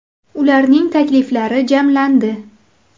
Ularning takliflari jamlandi.